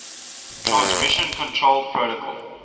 transmission control protocol